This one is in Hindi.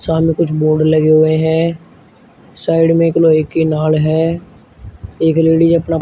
सामने कुछ बोर्ड लगे हुए हैं साइड में एक लोहे की नाल है एक लेडिज अपना --